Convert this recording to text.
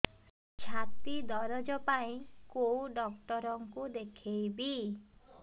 ଛାତି ଦରଜ ପାଇଁ କୋଉ ଡକ୍ଟର କୁ ଦେଖେଇବି